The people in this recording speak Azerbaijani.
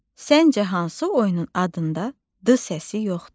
Səncə hansı oyunun adında D səsi yoxdur?